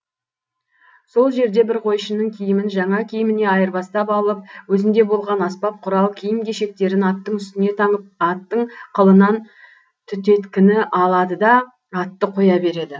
сол жерде бір қойшының киімін жаңа киіміне айырбастап алып өзінде болған аспап құрал киім кешектерін аттың үстіне таңып аттың қылынан түтеткіні алады да атты қоя береді